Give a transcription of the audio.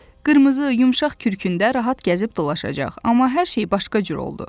Qırmızı, yumşaq kürkündə rahat gəzib dolaşacaq, amma hər şey başqa cür oldu.